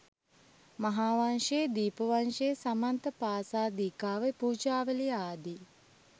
මහාවංශය, දීප වංශය, සමන්ත පාසාදිකාව, පූජාවලිය ආදී